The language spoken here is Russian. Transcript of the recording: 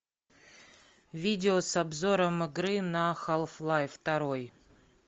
видео с обзором игры на халф лайф второй